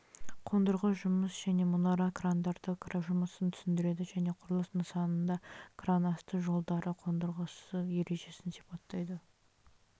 қондырғы жұмыс және мұнара крандары жұмысын түсіндіреді және құрылыс нысанында кран асты жолдары қондырғысы ережесін сипаттайды